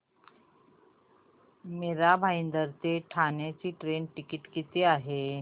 मीरा भाईंदर ते ठाणे चे train ticket किती आहे